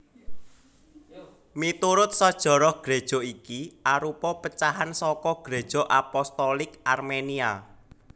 Miturut sajarah Gréja iki arupa pecahan saka Gréja Apostolik Armenia